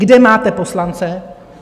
Kde máte poslance?